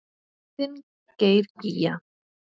Þinn Geir Gígja.